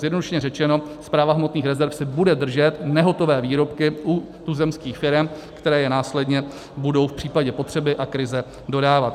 Zjednodušeně řečeno, Správa hmotných rezerv si bude držet nehotové výrobky u tuzemských firem, které je následně budou v případě potřeby a krize dodávat.